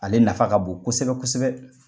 Ale nafa ka bon kosɛbɛ kosɛbɛ.